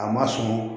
A ma sɔn